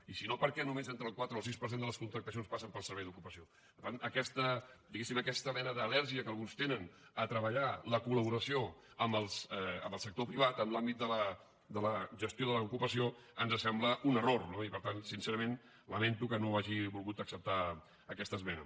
i si no per què només entre el quatre i el sis per cent de les contractacions passen pel servei d’ocupació per tant aquesta diguéssim aquesta mena d’al·lèrgia que alguns tenen a treballar la col·laboració amb el sector privat en l’àmbit de la gestió de l’ocupació ens sembla un error no i per tant sincerament lamento que no hagi volgut acceptar aquesta esmena